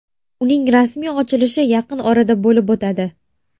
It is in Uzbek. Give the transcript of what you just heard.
Uning rasmiy ochilishi yaqin orada bo‘lib o‘tadi.